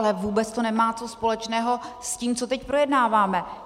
Ale vůbec to nemá co společného s tím, co teď projednáváme.